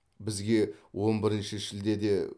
бізге он бірінші шілдеде